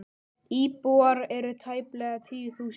Íbúar eru tæplega tíu þúsund.